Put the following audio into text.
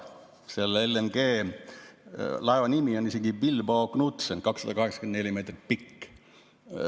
LNG-laeva nimi on Bilbao Knutsen, 284 meetrit pikk.